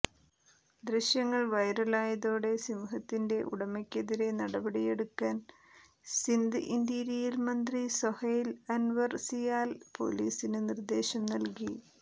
ദൃശ്യങ്ങൾ വൈറലായതോടെ സിംഹത്തിന്റെ ഉടമയ്ക്കെതിരെ നടപടിയെടുക്കൻ സിന്ദ് ഇന്റീരിയർ മന്ത്രി സൊഹെയ്ൽ അൻവർ സിയാൽ പൊലീസിന് നിർദേശം നൽകി